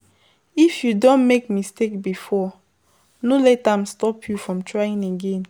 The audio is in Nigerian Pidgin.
If you don make mistake before, no let am stop you from trying again